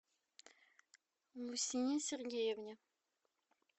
лусине сергеевне